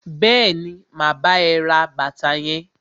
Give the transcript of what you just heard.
Bẹẹni, ma bá ẹ ra bàtà yẹn.